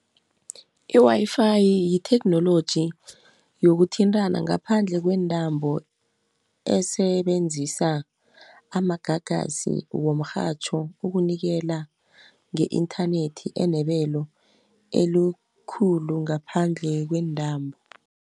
I-Wi-Fi yitheknoloji, yokuthintana ngaphandle kweentambo, esebenzisa amagagasi womrhatjho ukunikela nge-inthanethi enebelo elikhulu ngaphandle kweentambo.